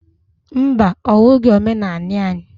Mba! Ọ bụghị omenanị anyị.